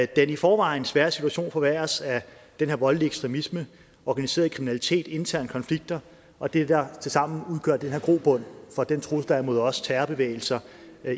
den i forvejen svære situation forværres af den her voldelige ekstremisme organiseret kriminalitet interne konflikter og det der tilsammen udgør den her grobund for den trussel der er mod os terrorbevægelser